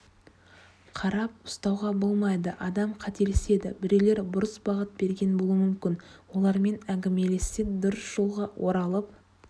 қарап ұстауғаболмайды адам қателеседі біреулер бұрыс бағыт берген болуы мүмкін олармен әңгімелессе дұрыс жолға оралып